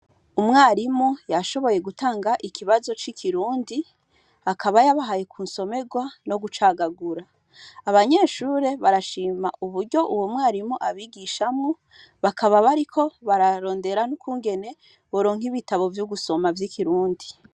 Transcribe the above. Umwarimu yashoboye gutanga ikibazo cikirundi akaba yabahaye kunsomerwa no gucagagura abanyeshure barashima uburyo uwo mwarimu abigishamwo bakaba bariko bararondera ukugene boronka bitabo vyogusoma vyikirundi